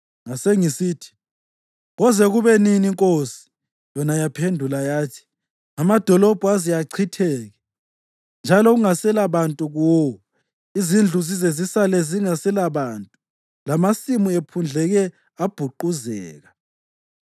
Ngasengisithi, “Koze kube nini, Nkosi?” Yona yaphendula yathi: “Amadolobho aze achitheke njalo kungaselabantu kuwo, izindlu zize zisale zingaselabantu, lamasimu ephundleke abhuquzeka,